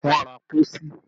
Wọ́n ra pósí